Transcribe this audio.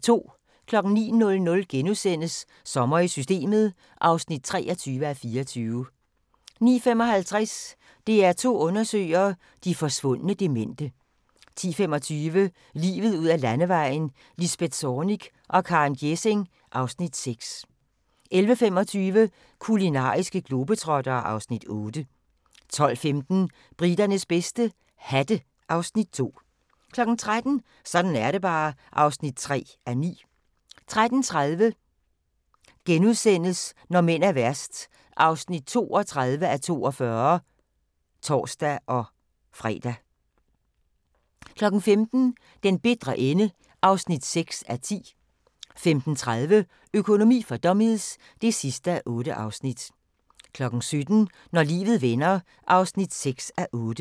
09:00: Sommer i Systemet (23:24)* 09:55: DR2 undersøger: De forsvundne demente 10:25: Livet ud ad Landevejen: Lisbeth Zornig og Karen Gjesing (Afs. 6) 11:25: Kulinariske globetrottere (Afs. 8) 12:15: Briternes bedste - hatte (Afs. 2) 13:00: Sådan er det bare (3:9) 13:30: Når mænd er værst (32:42)*(tor-fre) 15:00: Den bitre ende (6:10) 15:30: Økonomi for dummies (8:8) 17:00: Når livet vender (6:8)